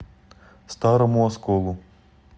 старому осколу